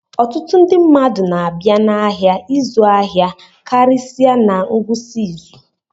Ọtụtụ ndị mmadụ na-abịa n'ahịa ịzụ ahịa karịsịa na ngwụsị izu